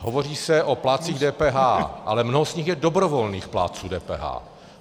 Hovoří se o plátcích DPH, ale mnoho z nich je dobrovolných plátců DPH.